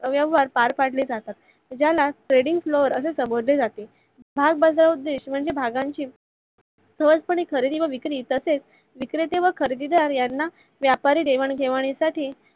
व्यवहार पार पडले जातात. ज्याला Treding Flor असे संबोधले जाते. भागबाजारात म्हणजे भागांची सहज पणे खरेदी व विक्री तसेच विक्रेते व खरेदीदार यांना व्यापारी घेवाणी देवणी साठी